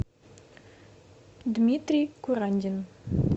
дмитрий курандин